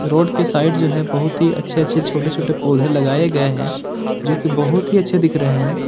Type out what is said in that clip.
Road के side जो है बहुत ही अच्छे अच्छे छोटे छोटे पौधे लगाए गए हैं जो की बहुत ही अच्छे दिख रहे हैं।